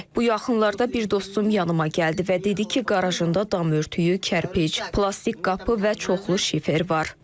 Bu yaxınlarda bir dostum yanıma gəldi və dedi ki, qarajında dam örtüyü, kərpic, plastik qapı və çoxlu şifer var.